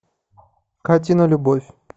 катина любовь